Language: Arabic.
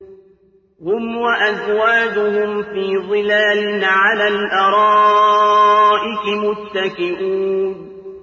هُمْ وَأَزْوَاجُهُمْ فِي ظِلَالٍ عَلَى الْأَرَائِكِ مُتَّكِئُونَ